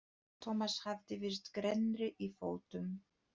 Thomas hafði virst grennri í fötum.